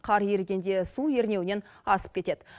қар ерігенде су ернеуінен асып кетеді